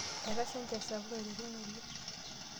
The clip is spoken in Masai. Etasha enchan sapuk eiteru ng'ole.